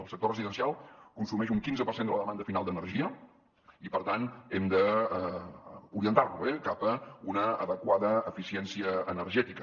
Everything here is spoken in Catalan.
el sector residencial consumeix un quinze per cent de la demanda final d’energia i per tant hem d’orientar lo cap a una adequada eficiència energètica